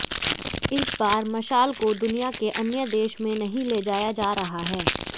इस बार मशाल को दुनिया के अन्य देश में नहीं ले जाया जा रहा है